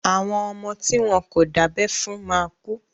Àwọn ọmọ tí wọ́n kò dábẹ́ fún máa kú.